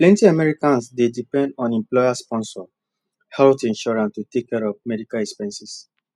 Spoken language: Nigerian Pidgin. plenty americans dey depend on employersponsored health insurance to take care of medical expenses